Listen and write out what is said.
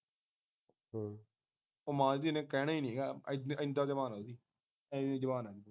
ਉਹ ਮਾਂ ਦੀ ਧੀ ਨੇ ਕਹਿਣਾ ਨੀਗਾ ਇਦਾ ਜ਼ਬਾਨ ਉਹਦੀ ਇੰਨੀ ਜ਼ਬਾਨ ਆ